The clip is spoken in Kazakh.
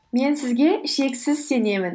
мен сізге шексіз сенемін